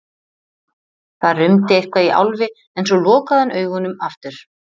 Það rumdi eitthvað í Álfi en svo lokaði hann augunum aftur.